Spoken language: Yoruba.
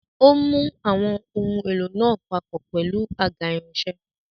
Ó mú àwọn ohun èlò náà papọ̀ pẹ̀lú àga irinṣẹ́.